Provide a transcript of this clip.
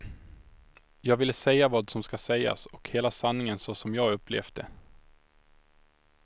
Jag ville säga vad som ska sägas och hela sanningen så som jag upplevt det.